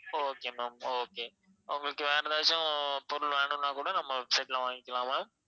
okay ma'am okay உங்களுக்கு வேற ஏதாச்சும் பொருள் வேணும்னா கூட நம்ம website ல வாங்கிக்கலாம் ma'am